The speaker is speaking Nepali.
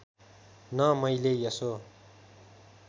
न मैले यसो